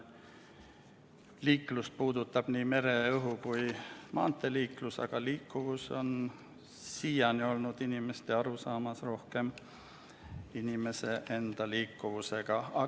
Liikluse alla käib nii mere-, õhu- kui maanteeliiklus, aga "liikuvus" on siiani inimestel seostunud rohkem inimese enda liikuvusega.